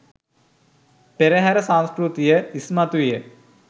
පෙරහර සංස්කෘතිය ඉස්මතු විය.